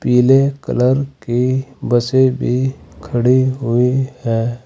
पीले कलर की बसे भी खड़ी हुई है।